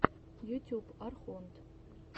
ютюб архонт